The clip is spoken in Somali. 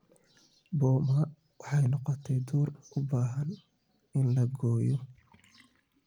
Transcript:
Boma waxay noqotay duur u baahan in la gooyo